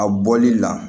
A bɔli la